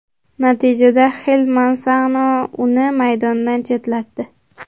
Natijada Xil Mansano uni maydondan chetlatdi.